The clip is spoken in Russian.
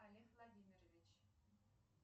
олег владимирович